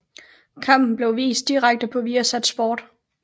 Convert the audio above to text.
Kampen blev vist direkte på Viasat Sport